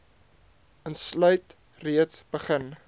insluit reeds begin